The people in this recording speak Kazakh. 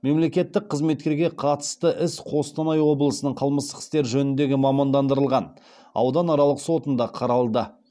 мемлекеттік қызметкерге қатысты іс қостанай облысының қылмыстық істер жөніндегі мамандандырылған ауданаралық сотында қаралды